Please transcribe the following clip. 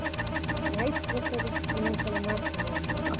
ಆಯ್ತ್ ಪ್ರಸಾದು ಇನ್ನೊಂದ್ಸಲ ಮಾಡ್ತೇನೆ ನಾ ನಿಂಗೆ.